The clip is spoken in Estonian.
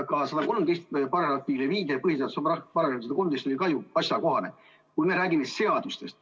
Viide põhiseaduse §-le 113 oleks ka asjakohane, kui me räägiksime seadustest.